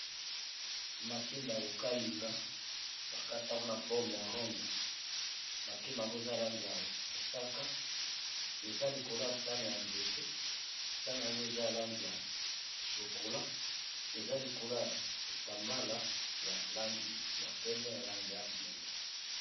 Makimba ya kokalinga bakatango na forme ya ronde makimba yango eza langi ya mosaka eza likolo ya sahane ya nzete, sahane yango eza alangi ya chokula eza likolo ya kitambala ya langi ya pembe na langi ya mwindo.